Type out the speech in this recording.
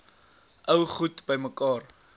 ou goed bymekaar